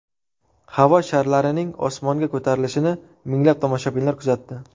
Havo sharlarining osmonga ko‘tarilishini minglab tomoshabinlar kuzatdi.